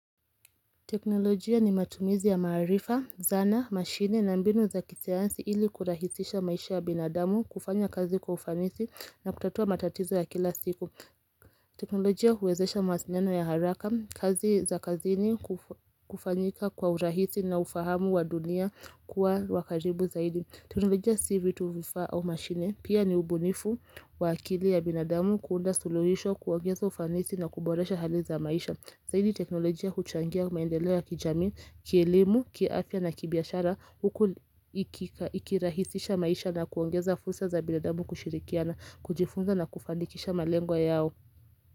Teknolojia ni matumizi ya maharifa, zana, mashine na mbinu za kisayansi ili kurahisisha maisha ya binadamu kufanya kazi kwa ufanisi na kutatua matatizo ya kila siku. Teknolojia huwezesha mawasiliano ya haraka, kazi za kazini kufanyika kwa urahisi na ufahamu wa dunia kuwa wa karibu zaidi. Teknolojia si vitu vifaa au mashine pia ni ubunifu wa akili ya binadamu kuunda suluhisho kuongeza ufanisi na kuboresha hali za maisha. Zaidi teknolojia huchangia maendeleo ya kijamii, kielimu, kiaafya na kibiashara huku ikirahisisha maisha na kuongeza fursa za binadamu kushirikiana, kujifunza na kufanikisha malengo yao.